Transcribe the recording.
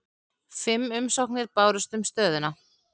Fimm umsóknir bárust um stöðuna